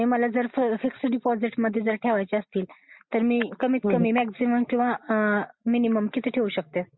तर मला जर फिक्स्ड डिपॉझिट मध्ये ठेवायचे असतील तर मी कमीत कमी मॅक्सिमम किंवा मिनिमम किती ठेऊ शकते?